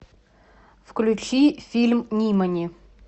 включи фильм нимани